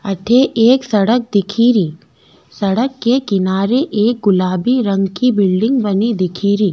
अठे एक सड़क दिखेरी सड़क के किनारे एक गुलाबी रंग की बिल्डिंग बनी दिखेरी।